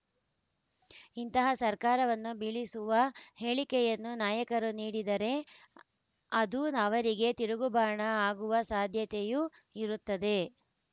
ಇಂತಹ ಸರ್ಕಾರವನ್ನು ಬೀಳಿಸುವ ಹೇಳಿಕೆಯನ್ನು ನಾಯಕರು ನೀಡಿದರೆ ಅದು ಅವರಿಗೆ ತಿರುಗುಬಾಣ ಆಗುವ ಸಾಧ್ಯತೆಯೂ ಇರುತ್ತದೆ